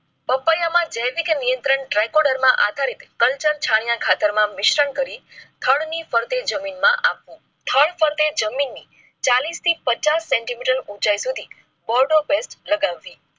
પાપાયી માં જેવીક નિયંત્રણ zycoder માં આધારિત કલ્ચર છાણીયા ખાતર માં મિશ્રણ કરી ઠંડ ની ફરતે જમીન માં આપવું ઠંડ તે જમીન ની ચાલીસ થી પચાસ સેન્ટીમીટર ઉંચાઈ સુધી બોર્ડઓ પેસ્ટ લગાવવી